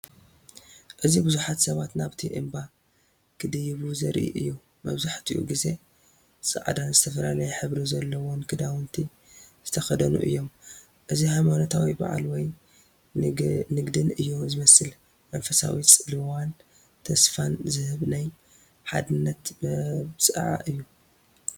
እዚ ብዙሓት ሰባት ናብቲ እምባ ክድይቡ ዘርኢ እዩ። መብዛሕትኡ ግዜ ጻዕዳን ዝተፈላለየ ሕብሪ ዘለዎን ክዳውንቲ ዝተከደኑ እዮም። እዚ ሃይማኖታዊ በዓል ወይ ንግደት እዩ ዝመስል። መንፈሳዊ ጽልዋን ተስፋን ዝህብ ናይ ሓድነት መብጽዓ እዩ።